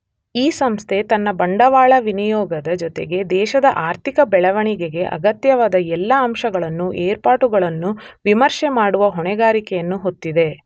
ಈ ಸಂಸ್ಥೆ ತನ್ನ ಬಂಡವಾಳ ವಿನಿಯೋಗದ ಜೊತೆಗೆ ದೇಶದ ಆರ್ಥಿಕ ಬೆಳೆವಣಿಗೆಗೆ ಅಗತ್ಯವಾದ ಎಲ್ಲ ಅಂಶಗಳನ್ನೂ ಏರ್ಪಾಟುಗಳನ್ನೂ ವಿಮರ್ಶೆಮಾಡುವ ಹೊಣೆಗಾರಿಕೆಯನ್ನು ಹೊತ್ತಿದೆ.